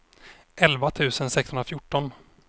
elva tusen sexhundrafjorton